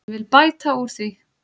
Ég vil bæta úr því.